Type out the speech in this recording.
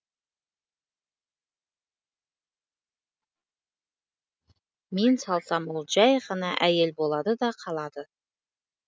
мен салсам ол жай ғана әйел болады да қалады